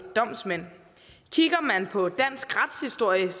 domsmænd kigger man på dansk retshistorie er